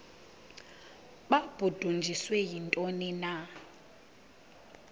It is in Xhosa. babudunjiswe yintoni na